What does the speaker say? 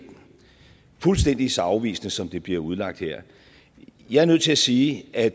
fuldstændig så afvisende som det bliver udlagt her jeg er nødt til at sige at